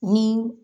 Ni